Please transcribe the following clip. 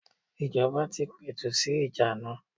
Ìjọba tí ń pẹ̀tù sì ìjà ana.